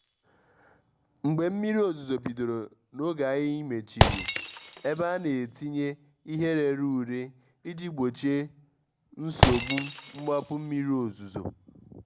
mgbé mmírí òzúzó bídóró n’ógé ànyị́ méchírí ébé à nà-étínyé íhé réré úré íjí gbóchíé nsógbú mgbápú mmírí òzúzó.